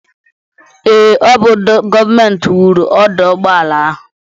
Ee, ọ bụ gọọmenti wuru ọdụụgbọala ahụ.